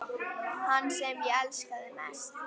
Hann sem ég elskaði mest.